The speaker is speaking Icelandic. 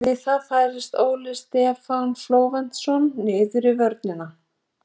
Við það færðist Óli Stefán Flóventsson niður í vörnina.